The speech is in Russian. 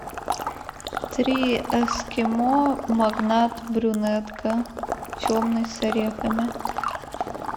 три эскимо магнат брюнетка темный с орехами